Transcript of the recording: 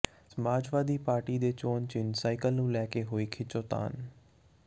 ਸਮਾਜਵਾਦੀ party ਦੇ ਚੋਣ ਚਿੰਨ੍ਹ ਸਾਈਕਲ ਨੂੰ ਲੈ ਕੇ ਹੋਈ ਖਿੱਚੋਤਾਣ